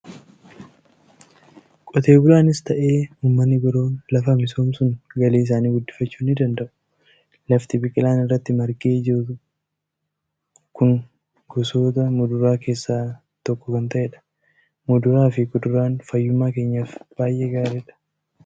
Qotee bulaanis ta'e uummanni biroon lafa misoomsuun galii isaanii guddifachuu ni danda'u. Lafti biqilaan irratti margee jiru kungosoota muduraa keessaa tokko kan ta'edha. Muduraa fi kuduraan fayyummaa keenyaaf baay'ee gaariidha!